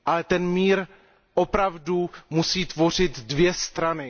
Ten mír opravdu musí tvořit dvě strany.